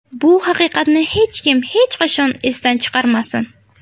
Bu haqiqatni hech kim, hech qachon esidan chiqarmasin.